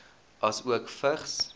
asook vigs